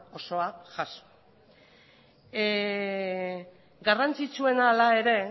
osoa jaso garrantzitsuena hala ere